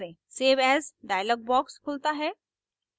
save as dialog box खुलता है